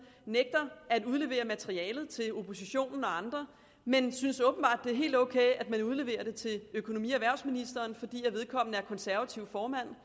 nægter at udlevere materialet til oppositionen og andre men synes åbenbart det er helt ok at man udleverer det til økonomi og erhvervsministeren fordi vedkommende er konservativ formand